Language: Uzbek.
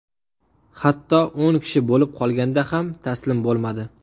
Hatto o‘n kishi bo‘lib qolganda ham taslim bo‘lmadi.